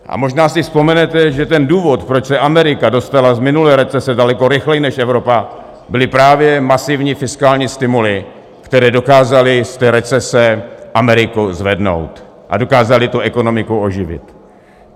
A možná si vzpomenete, že ten důvod, proč se Amerika dostala z minulé recese daleko rychleji než Evropa, byly právě masivní fiskální stimuly, které dokázaly z té recese Ameriku zvednout a dokázaly tu ekonomiku oživit.